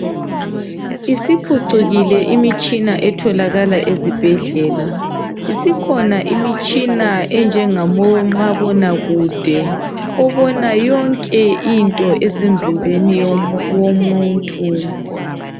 Isiphucukile imitshina etholakala ezibhedlela. Isikhona imitshina enjengabomabonakude obona yonke into esemzimbeni yomuntu.